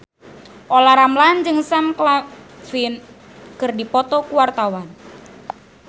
Olla Ramlan jeung Sam Claflin keur dipoto ku wartawan